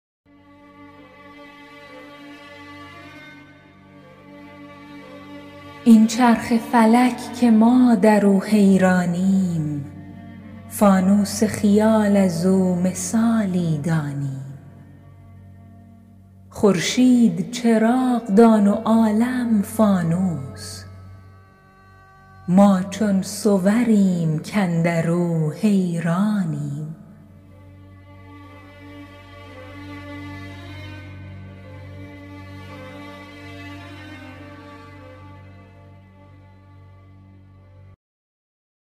این چرخ فلک که ما در او حیرانیم فانوس خیال از او مثالی دانیم خورشید چراغ دان و عالم فانوس ما چون صوریم کاندر او حیرانیم